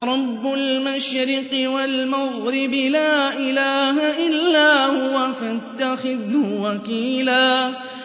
رَّبُّ الْمَشْرِقِ وَالْمَغْرِبِ لَا إِلَٰهَ إِلَّا هُوَ فَاتَّخِذْهُ وَكِيلًا